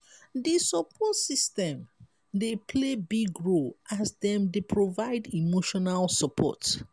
di support system dey play big role as dem dey provide emotional support.